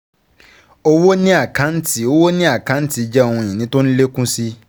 Owó ni àkáǹtì Owó ni àkáǹtì jẹ́ ohun ìní tó ń lékún si.